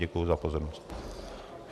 Děkuji za pozornost.